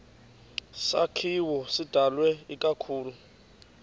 sakhiwo sidalwe ikakhulu